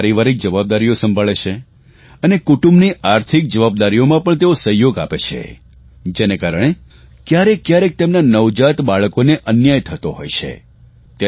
તેઓ પારિવારિક જવાબદારીઓ પણ સંભાળે છે અને કુટુંબની આર્થિક જવાબદારીઓમાં પણ તેઓ સહયોગ આપે છે જેને કારણે કયારેકકયારેક તેમના નવજાત બાળકોને અન્યાય થતો હોય છે